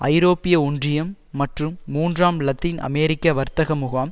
ஐரோப்பிய ஒன்றியம் மற்றும் மூன்றாம் இலத்தீன் அமெரிக்க வர்த்தக முகாம்